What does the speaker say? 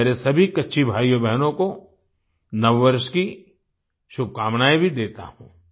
मैं मेरे सभी कच्छी भाईयोबहनों को नववर्ष की शुभकामनाएँ भी देता हूँ